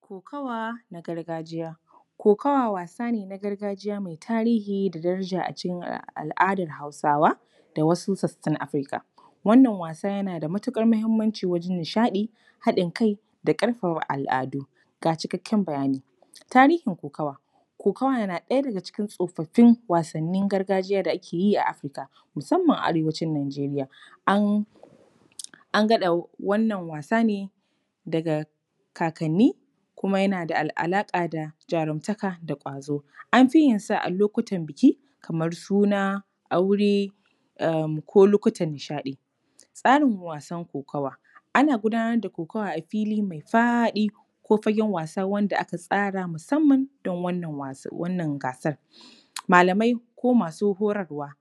Kokawa na gargajiya. Kokawa wasa ne na gargajiya mai tarihi da daraja a cikin al’adar Hausawa da wasu sassan Africa. Wannan was an yana da matuƙar muhimmanci wajen nishaɗi, haɗin kai da ƙarfafa al’adu. Ga cikakken bayani: Tarihin kokawa:- kokawa na ɗaya daga cikin tsofaffin wasannin gargajiya da ake yi a Africa, musamman a Arewacin Nigeria. An gada wannan wasa ne, daga kakanni kuma yana da alaƙa da jarumtaka da ƙwazo. An fi yin sa a lokutan buki kamar suna, aure, ehm ko lokacin nishaɗi. Tsarin wasan kokawa:- ana gudanar da kokawa a fili mai faɗi ko fagen was da aka tsara musamman don wannan wasan, wannan gasar. Malamai ko masu horarwa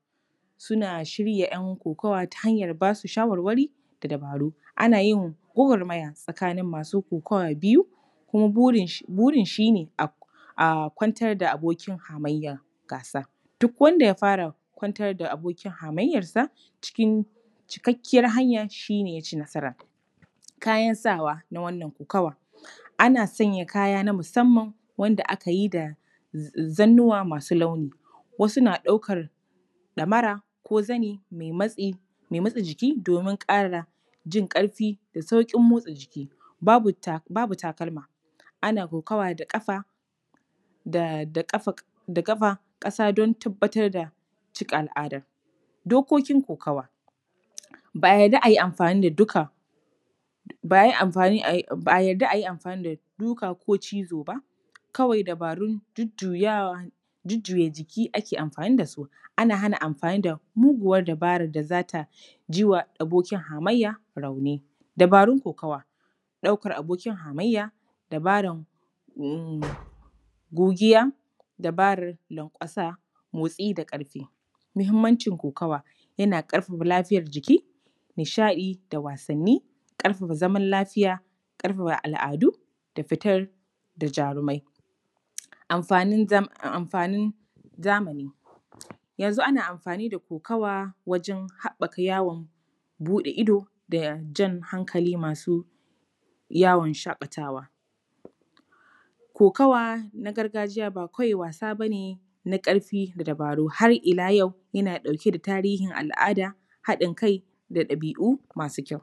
suna shirya ‘yan kokawa ta hanyar ba su shawarwari da dabaru. Ana yin gwagwarmaya tsakanin masu kokawa biyu kuma burin shi ne a kwantar da abokin hamayya a gasar. Duk wanda ya fara kwantar da abokin hamayyarsa, cikin cikakkiyar hanya, shi ne ya yi nasara. Kayan sawa na wannan kokawa: ana sanya kaya na musamman, wanda aka yi da zannuwa masu launi. Wasu na ɗaukar ɗamara, ko zani mai matsi, mai matse jiki domin ƙara jin ƙarfi da sauƙin motsa jiki. Babu takalma. Ana kokawa da ƙafa, da… da ƙafa, da ƙafa, ƙasa don tabbatar da cika al’ada. Dokokin kokawa: ba a yarda a yi amfani da duka… ba a yarda a yi amfani da duka ko cizo ba, kawai dabarun jujjuyawan… dabarun jujjuya jiki ake amfani da su. Ana hana amfani da muguwar dabarar da za ta ji wa abokin hamayya rauni. Dabarun kokawa: ɗaukar abokin hamayya, dabaran… gogiya, dabaran lanƙwasa, motsi da ƙarfi. Muhimmancin kokawa: yana ƙarfafa lafiyar jiki, nihsaɗi da wasanni, ƙarfafa zaman lafiya, ƙarfafa al’adu da fitar da jarumai. Amfanin zamani: yanzu ana amfani da kokawa wajen haɓɓaka yawon buɗe ido da jan hankalin masu yawon shaƙatawa. Kokawa na gargajiya ba kawai wasa ba ne na ƙarfii da dabaru, har ila yau yana ɗauke da tarihin al’ada, haɗin kai da ɗabi’u masu kyau.